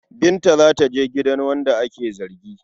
Binta za ta je gidan wanda ake zargi.